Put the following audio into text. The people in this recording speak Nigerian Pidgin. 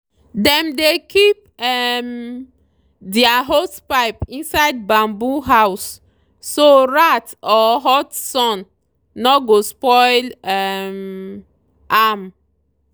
dem dey keep um their hosepipe inside bamboo house so rat or hot sun no go spoil um am.